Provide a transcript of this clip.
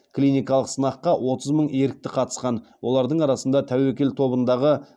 клиникалық сынаққа отыз мың ерікті қатысқан олардың арасында тәуекел тобындағы